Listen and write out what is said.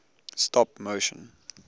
stop motion